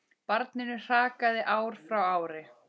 Barninu hrakaði ár frá ári.